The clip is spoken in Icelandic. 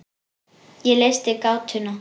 Ég leysti gátuna.